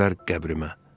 Tökülər qəbrimə.